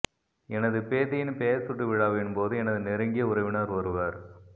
எனது பேத்தியின் பெயர் சுட்டு விழாவின்போது எனது நெருங்கிய உறவினர் ஒருவர்